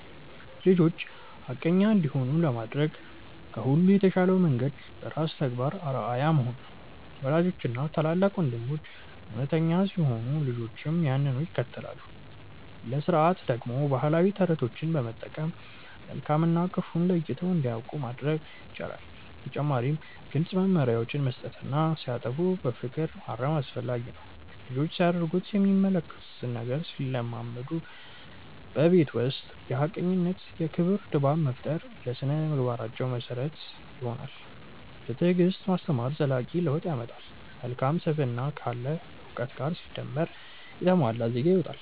ልጆች ሐቀኛ እንዲሆኑ ለማድረግ ከሁሉ የተሻለው መንገድ በራስ ተግባር አርአያ መሆን ነው። ወላጆችና ታላላቅ ወንድሞች እውነተኛ ሲሆኑ ልጆችም ያንኑ ይከተላሉ። ለሥርዓት ደግሞ ባህላዊ ተረቶችን በመጠቀም መልካም እና ክፉን ለይተው እንዲያውቁ ማድረግ ይቻላል። በተጨማሪም ግልጽ መመሪያዎችን መስጠትና ሲያጠፉ በፍቅር ማረም አስፈላጊ ነው። ልጆች ሲያደርጉት የሚመለከቱትን ነገር ስለሚለምዱ፣ በቤት ውስጥ የሐቀኝነትና የክብር ድባብ መፍጠር ለሥነ-ምግባራቸው መሰረት ይሆናል። በትዕግስት ማስተማር ዘላቂ ለውጥ ያመጣል። መልካም ስብዕና ካለ እውቀት ጋር ሲደመር የተሟላ ዜጋ ይወጣል።